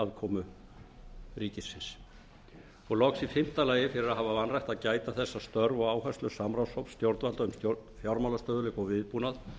aðkomu ríkisins fimmta fyrir að hafa vanrækt að gæta þess að störf og áherslur samráðshóps stjórnvalda um stjórn fjármagnsstöðugleika og viðbúnað